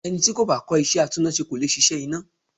Ẹni tí kò bá kọ́ iṣẹ́ atúnnáṣe kò le ṣiṣẹ́ iná.